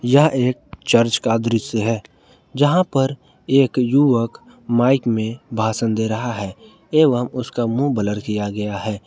यह एक चर्च का दृश्य है जहां पर एक युवक माइक में भाषण दे रहा है एवम् उसका मुंह ब्लर किया गया है।